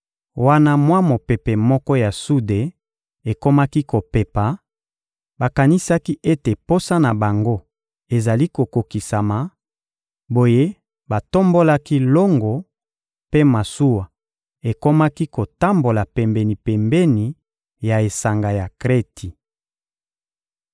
Wana mwa mopepe moko ya sude ekomaki kopepa, bakanisaki ete posa na bango ezali kokokisama; boye batombolaki longo, mpe masuwa ekomaki kotambola pembeni-pembeni ya esanga ya Kreti.